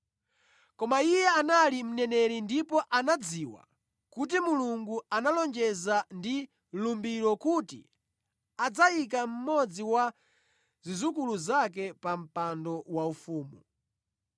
Koma iye anali mneneri ndipo anadziwa kuti Mulungu analonjeza ndi lumbiro kuti adzayika mmodzi wa zidzukulu zake pa mpando waufumu.